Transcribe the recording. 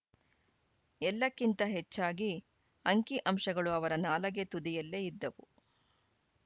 ಎಲ್ಲಕ್ಕಿಂತ ಹೆಚ್ಚಾಗಿ ಅಂಕಿಅಂಶಗಳು ಅವರ ನಾಲಗೆ ತುದಿಯಲ್ಲೇ ಇದ್ದವು